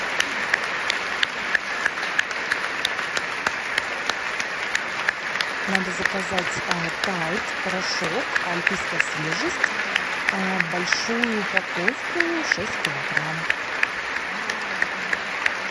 надо заказать тайд порошок альпийская свежесть большую упаковку шесть килограмм